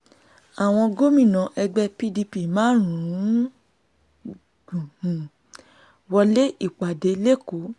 àwọn gómìnà ẹgbẹ́ pdp márùn-ún um wọlé ìpàdé lékòó